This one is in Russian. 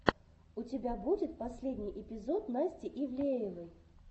у тебя будет последний эпизод насти ивлеевой